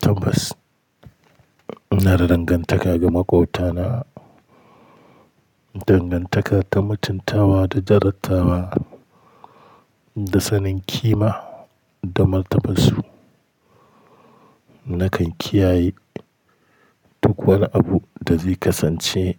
Tabbas, ina da dangantaka ga maƙwabtana, dangantaka ta mutuntawa da jarantawa da sanin ƙima da martabarsu. Nakan kiyaye duk wani abu da zai kasance